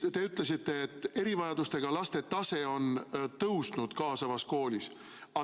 Te ütlesite, et erivajadustega laste tase on tõusnud kaasavas koolis.